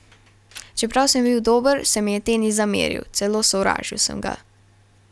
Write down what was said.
Čeprav sem bil dober, se mi je tenis zameril, celo sovražil sem ga.